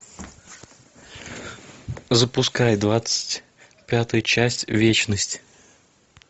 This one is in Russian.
запускай двадцать пятую часть вечность